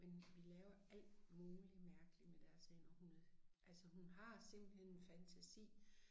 Men vi laver alt muligt mærkeligt med deres hænder hun er altså hun har simpelthen en fantasi